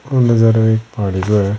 ओ नजारा एक पहाड़ी को है।